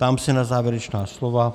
Ptám se na závěrečná slova.